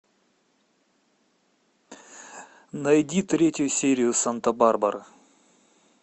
найди третью серию санта барбара